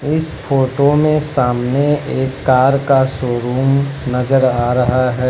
इस फोटो में सामने एक कार का शोरूम नजर आ रहा है।